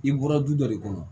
I bɔra du dɔ de kɔnɔ